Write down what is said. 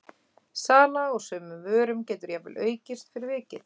Sala á sumum vörum getur jafnvel aukist fyrir vikið.